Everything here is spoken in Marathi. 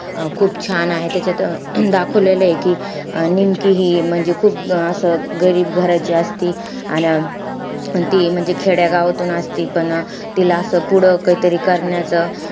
अं खूप छान आहे. त्याच्यात दाखवलेलंय कि अं निमकी हि म्हणजे खूप असं गरीब घराची असती. अन ती म्हणजे खेड्या गावातून असती. पण अं तिला असं पुढं काहीतरी करण्याचं,